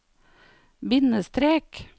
bindestrek